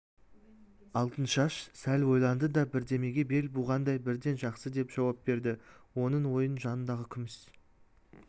алтыншаш сәл ойланды да бірдемеге бел буғандай бірден жақсы деп жауап берді оның ойын жанындағы күміс